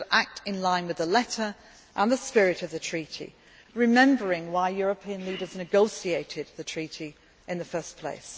chance. We should act in line with the letter and the spirit of the treaty, remembering why European leaders negotiated the treaty in the first